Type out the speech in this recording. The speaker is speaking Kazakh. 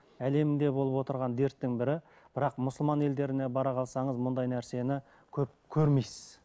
әлемде болып отырған дерттің бірі бірақ мұсылман елдеріне бара қалсаңыз мұндай нәрсені көп көрмейсіз